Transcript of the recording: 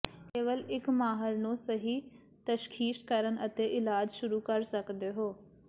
ਕੇਵਲ ਇੱਕ ਮਾਹਰ ਨੂੰ ਸਹੀ ਤਸ਼ਖੀਸ਼ ਕਰਨ ਅਤੇ ਇਲਾਜ ਸ਼ੁਰੂ ਕਰ ਸਕਦੇ ਹੋ